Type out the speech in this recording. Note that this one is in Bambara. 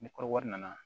Ni kɔrɔbɔrɔ nana